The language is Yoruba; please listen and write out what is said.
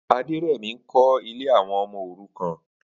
Aderemi n kọ̀ ilé awọn ọmọ órùkàn